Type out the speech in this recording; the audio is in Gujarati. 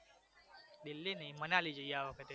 દિલ્હી નહિ મનાલી જઈએ આ વખતે